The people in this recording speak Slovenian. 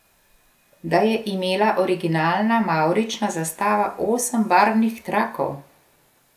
Da je imela originalna mavrična zastava osem barvnih trakov?